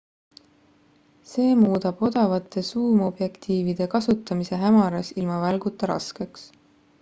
see muudab odavate suumobjektiivide kasutamise hämaras ilma välguta raskeks